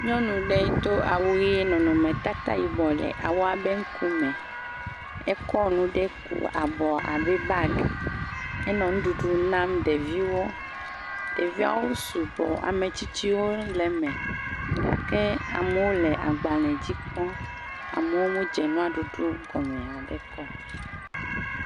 Nyɔnu ɖe do awu ɣiee, nɔnɔmetata yibɔ le awua be ŋukume, ekɔ nu ɖe ku abɔ abe bagi, enɔ nuɖuɖu nam ɖeviwo, ɖeviawo sugbɔ, ametsitsiwo le me, gake amowo le agbalē dzi kpɔ, amowo mo dze nua ɖuɖu gɔme haɖe kɔo.